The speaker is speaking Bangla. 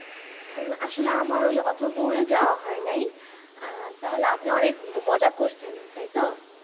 আহ আসলে আমার ওই অত দূরে যাওয়া হয় নাই আহ তাহলে আপনি অনেক মজা করছেন তাইতো